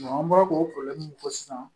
an bɔra k'o min fɔ sisan